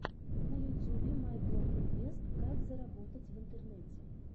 на ютюбе майблогинвест как заработать в интернете